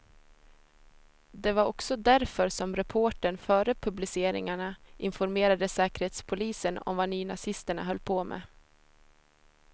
Det var också därför som reportern före publiceringarna informerade säkerhetspolisen om vad nynazisterna höll på med.